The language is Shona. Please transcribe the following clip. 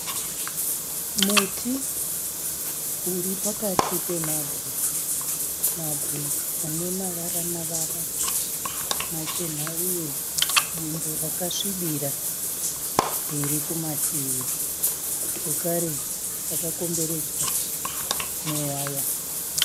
Muti uri pakati pemabwe. Mabwe ane mavara mavara machena uye bundo rakasvibira riri kumativi zvekare rakakomberedzwa newaya.